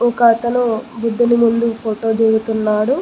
ఒకతను బుద్ధుని ముందు ఫోటో దిగుతున్నాడు.